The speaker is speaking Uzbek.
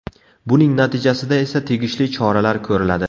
Buning natijasida esa tegishli choralar ko‘riladi.